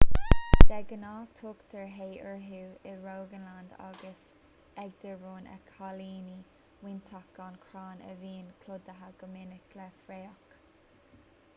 de ghnáth tugtar hei orthu i rogaland agus agder rud a chiallaíonn móinteach gan chrann a bhíonn clúdaithe go minic le fraoch